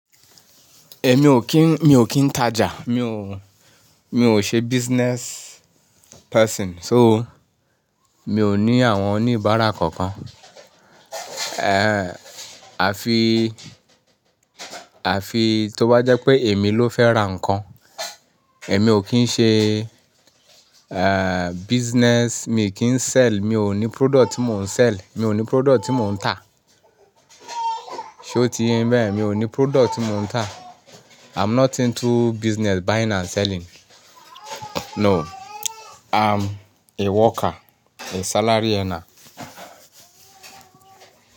Èmi ò kí n, mi ò kí n tajà. Mi ò, mi ò ṣe business person. So, mi ò ní àwọn oníbàárà kankan. Àfi, àfi tó bá jẹ́ pé èmi ló fẹ́ ra nǹkan. Èmi ò kí ń ṣe business. Èmi kì ń sell. Mi ò ní product tí mò ń sell. Mi ò ní product tí mò ń tà. Sé o ti ye yin bẹ́yen? Mi ò ní product tí mò ń tà. I'm not into business buying and selling. No, I'm a worker, a salary earner.